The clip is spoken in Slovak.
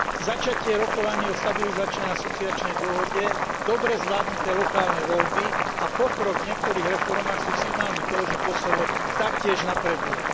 Začatie rokovaní o stabilizačnej a asociačnej dohode, dobre zvládnuté lokálne voľby a pokrok v niektorých reformách sú signálmi toho, že Kosovo taktiež napreduje.